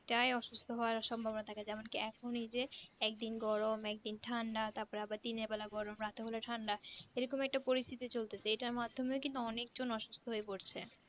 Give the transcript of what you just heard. টাই অসুস্থ হবার সম্ভবনা থাকে যেমনকি এখন এই যে একদিন গরম একদিন ঠান্ডা তারপরে আবার দিনের বেলায় গরম রাতের বেলায় ঠান্ডা এরকম একটা পরিস্তিতি চলতেছে এটার মাধ্যমে কিন্তু অনেকজন অসুস্থ হয়ে পড়ছে